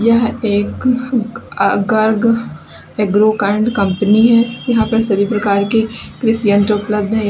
यह एक Garg agro kind company है यहां पर सभी प्रकार के यंत्र उपलब्ध है।